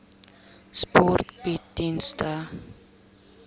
sport bied dienste